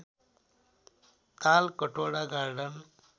Talkatora garden